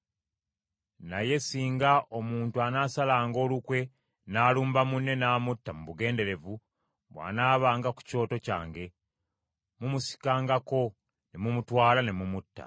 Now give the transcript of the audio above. Naye singa omuntu anaasalanga olukwe n’alumba munne n’amutta mu bugenderevu, bw’anaabanga ku kyoto kyange, mumusikangako ne mumutwala ne mumutta.